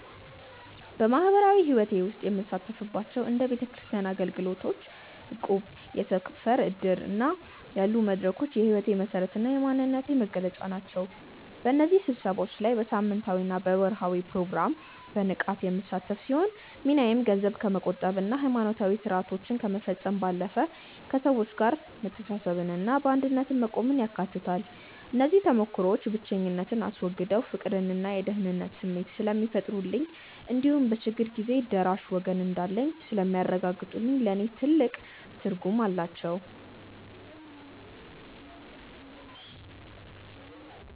በማኅበራዊ ሕይወቴ ውስጥ የምሳተፍባቸው እንደ ቤተክርስቲያን አገልግሎት፣ እቁብና የሰፈር ዕድር ያሉ መድረኮች የሕይወቴ መሠረትና የማንነቴ መገለጫ ናቸው። በእነዚህ ስብሰባዎች ላይ በሳምንታዊና በወርኃዊ ፕሮግራም በንቃት የምሳተፍ ሲሆን፣ ሚናዬም ገንዘብ ከመቆጠብና ሃይማኖታዊ ሥርዓቶችን ከመፈጸም ባለፈ፣ ከሰዎች ጋር መተሳሰብንና በአንድነት መቆምን ያካትታል። እነዚህ ተሞክሮዎች ብቸኝነትን አስወግደው የፍቅርና የደህንነት ስሜት ስለሚፈጥሩልኝ እንዲሁም በችግር ጊዜ ደራሽ ወገን እንዳለኝ ስለሚያረጋግጡልኝ ለእኔ ትልቅ ትርጉም አላቸው።